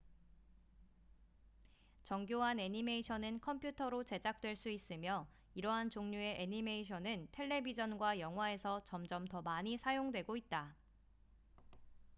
정교한 애니메이션은 컴퓨터로 제작될 수 있으며 이러한 종류의 애니메이션은 텔레비젼과 영화에서 점점 더 많이 사용되고 있다